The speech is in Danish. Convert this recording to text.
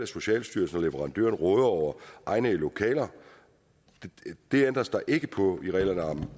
socialstyrelsen og at de råder over egnede lokaler det ændres der ikke på i reglerne om at